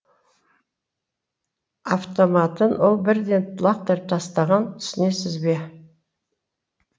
автоматын ол бірден лақтырып тастаған түсінесіз бе